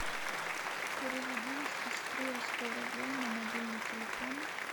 переведи сестре сто рублей на мобильный телефон